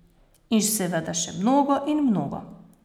In seveda še mnogo in mnogo.